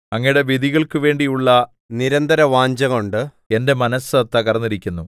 അങ്ങയുടെ വിധികൾക്കുവേണ്ടിയുള്ള നിരന്തരവാഞ്ഛകൊണ്ട് എന്റെ മനസ്സു തകർന്നിരിക്കുന്നു